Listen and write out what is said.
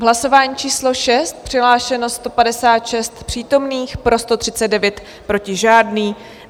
V hlasování číslo 6 přihlášeno 156 přítomných, pro 139, proti žádný.